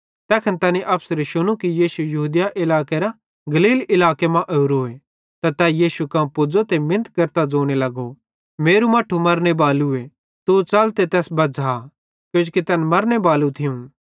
ज़ैखन तैनी अफसरे शुनू कि यीशु यहूदिया इलाकेरां गलील इलाके मां ओरोए त तै यीशु कां पुज़ो ते मिनत केरतां ज़ोने लगो मेरू मट्ठू मरने बालूए तू च़ल ते तैस बज़्झ़ा किजोकि तैन मरने बालू थियूं